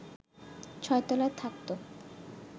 ছয় তলায় থাক তো